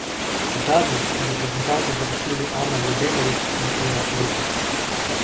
Kot zadnji sta reprezentanco zapustili Ana Ljubenović in Eva Rupnik.